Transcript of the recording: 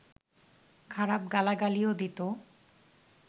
খারাপ গালাগালিও দিত